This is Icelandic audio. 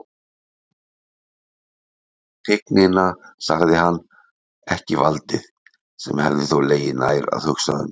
Tignina, sagði hann, ekki valdið, sem hefði þó legið nær að hugsa um.